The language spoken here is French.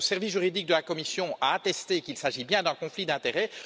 Le service juridique de la Commission a attesté qu'il s'agit bien d'un conflit d'intérêts.